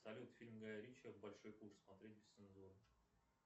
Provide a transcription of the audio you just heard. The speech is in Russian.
салют фильм гая ричи большой куш смотреть без цензуры